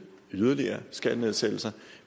yderligere skattenedsættelser